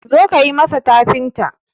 zo ka yi masa tafinta!